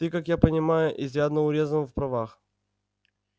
ты как я понимаю изрядно урезан в правах